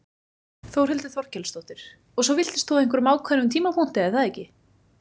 Þórhildur Þorkelsdóttir: Og svo villtist þú á einhverjum ákveðnum tímapunkti er það ekki?